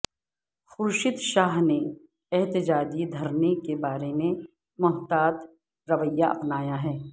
خورشید شاہ نے احتجاجی دھرنے کے بارے میں محتاط رویہ اپنایا ہے